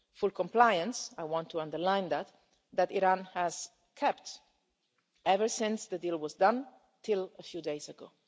Full compliance I want to underline that that Iran has kept ever since the deal was done until a few days ago.